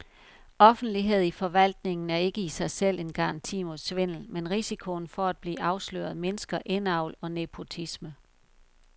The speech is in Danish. Offentlighed i forvaltningen er ikke i sig selv en garanti mod svindel, men risikoen for at blive afsløret mindsker indavl og nepotisme.